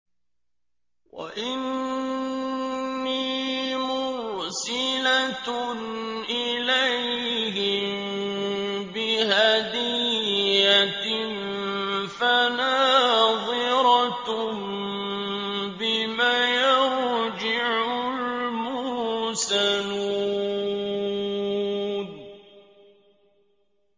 وَإِنِّي مُرْسِلَةٌ إِلَيْهِم بِهَدِيَّةٍ فَنَاظِرَةٌ بِمَ يَرْجِعُ الْمُرْسَلُونَ